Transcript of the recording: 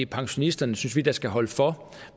pensionisterne synes vi der skal holde for